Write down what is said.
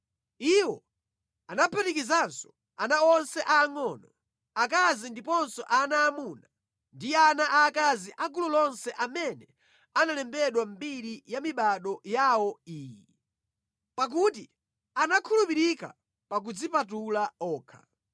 Iwo anaphatikizanso ana onse aangʼono, akazi ndiponso ana aamuna ndi ana aakazi a gulu lonse amene analembedwa mʼmbiri ya mibado yawo iyi, pakuti anakhulupirika pa kudzipatula okha.